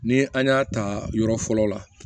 Ni an y'a ta yɔrɔ fɔlɔ la